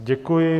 Děkuji.